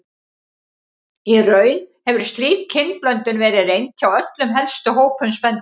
Í raun hefur slík kynblöndun verið reynd hjá öllum helstu hópum spendýra.